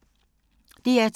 DR2